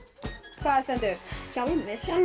hvað stendur hjálmur